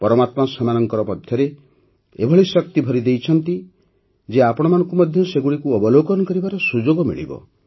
ପରମାତ୍ମା ସେମାନଙ୍କ ମଧ୍ୟରେ ଏଭଳି ଶକ୍ତି ଭରିଦେଇଛନ୍ତି ଯେ ଆପଣମାନଙ୍କୁ ମଧ୍ୟ ସେଗୁଡ଼ିକୁ ଅବଲୋକନ କରିବାର ସୁଯୋଗ ମିଳିବ